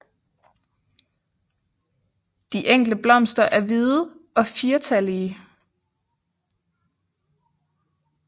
De enkle blomster er hvide og firtallige